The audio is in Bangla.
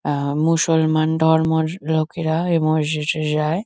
আ মুসলমান ধর্মর লোকেরা এ মসজিজে যায়।